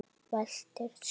Veltir sér.